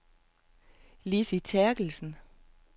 Lizzie Terkelsen